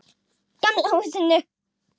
Gamla húsinu.